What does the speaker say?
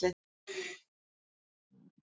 Ekki samið án lausnar í útvegi